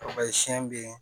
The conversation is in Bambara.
siyɛn bɛ ye